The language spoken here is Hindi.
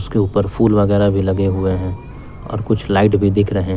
के ऊपर फूल वगैरा भी लगे हुए हैं और कुछ लाइट भी दिख रहे--